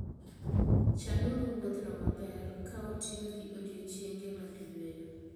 Chanuru wuodhno maber, ka utiyo gi odiechienge mag yweyo.